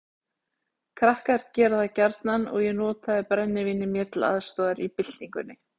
Krakkar gera það gjarnan og ég notaði brennivínið mér til aðstoðar í byltingunni.